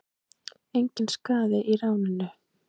Engan sakaði í ráninu